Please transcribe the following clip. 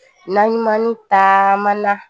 Naɲumanni taamana